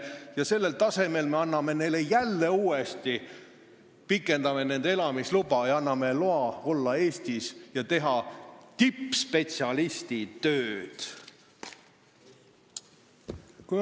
Ja sellise tasemega inimeste elamisluba me pikendame, me anname neile jälle loa olla Eestis ja teha tippspetsialisti tööd!